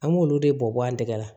An b'olu de bɔ an tɛgɛ la